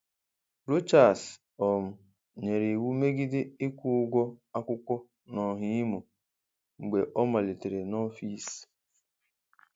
Rochas um nyere iwu megide ịkwụ ụgwọ akwụkwọ n’Ọhà Imo mgbe ọ malitere n’ọfịs.